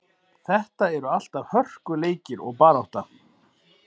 Þetta eru alltaf hörkuleikir og barátta.